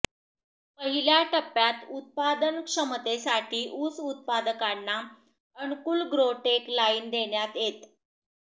पहिल्या टप्प्यात उत्पादनक्षमतेसाठी ऊस उत्पादकांना अनुकूल ग्रो टेक लाईन देण्यात येत